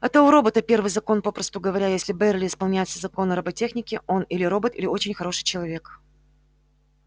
это у робота первый закон попросту говоря если байерли исполняет все законы роботехники он или робот или очень хороший человек